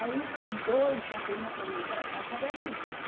Aí com dois também não podia ir para a casa de amigos.